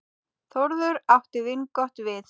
Þórður átti vingott við.